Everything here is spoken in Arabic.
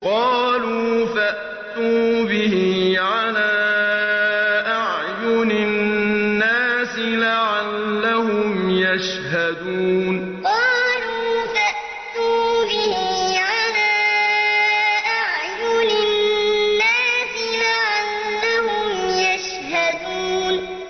قَالُوا فَأْتُوا بِهِ عَلَىٰ أَعْيُنِ النَّاسِ لَعَلَّهُمْ يَشْهَدُونَ قَالُوا فَأْتُوا بِهِ عَلَىٰ أَعْيُنِ النَّاسِ لَعَلَّهُمْ يَشْهَدُونَ